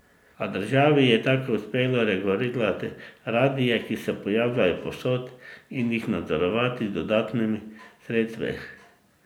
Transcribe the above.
A državi je tako uspelo regulirati radie, ki se pojavljajo povsod, in jih nadzorovati z dodatnimi sredstvi.